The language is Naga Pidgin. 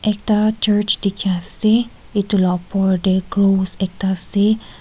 ekta church dikhi ase itu la opor teh crows ekta dikhi ase.